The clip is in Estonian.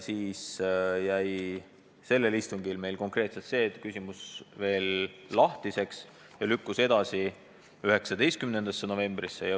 Sellel istungil jäi meil konkreetselt see küsimus veel lahtiseks ja lükkus edasi 19. novembrisse.